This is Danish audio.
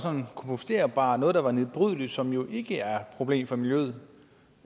komposterbart noget der var nedbrydeligt og som jo ikke er problem for miljøet